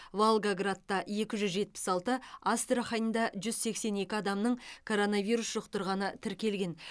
волгоградта екі жүз жетпіс алты астраханда жүз сексен екі адамның коронавирус жұқтырғаны тіркелген